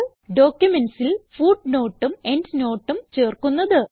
ഡോക്യുമെന്റ്സിൽ footnoteഉം endnoteഉം ചേർക്കുന്നത്